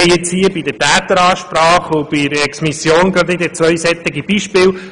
Wir haben hier mit der «Täteransprache» und der Exmission gerade wieder zwei solche Beispiele.